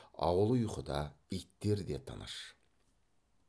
ауыл ұйқыда иттер де тыныш